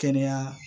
Kɛnɛya